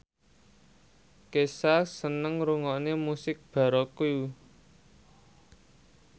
Kesha seneng ngrungokne musik baroque